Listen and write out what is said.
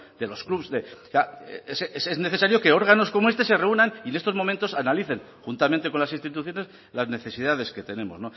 de los clubes es necesario que órganos como este se reúnan y en estos momentos analicen juntamente con las instituciones las necesidades que tenemos